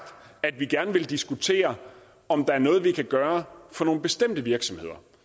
at vi gerne vil diskutere om der er noget vi kan gøre for nogle bestemte virksomheder